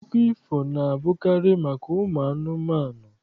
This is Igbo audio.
Akụkọ ifo na-abụkarị maka ụmụ anụmanụ.